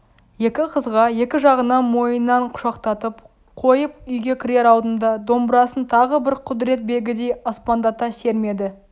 екі қызға екі жағынан мойнынан құшақтатып қойып үйге кірер алдында домбырасын тағы бір құдірет белгідей аспандата сермеді